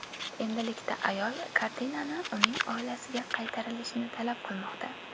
Endilikda ayol kartinani uning oilasiga qaytarilishini talab qilmoqda.